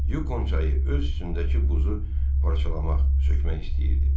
Yukon çayı öz üstündəki buzu parçalamaq, sökmək istəyirdi.